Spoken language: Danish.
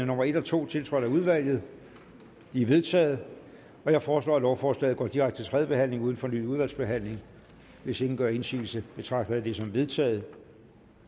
nummer en og to tiltrådt af udvalget de er vedtaget jeg foreslår at lovforslaget går direkte til tredje behandling uden fornyet udvalgsbehandling hvis ingen gør indsigelse betragter jeg det som vedtaget